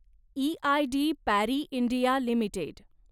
EID Parry India limited